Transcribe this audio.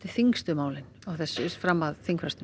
þyngstu málin fram að þingfrestun